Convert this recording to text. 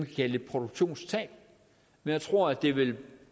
kalde et produktionstab men jeg tror det vil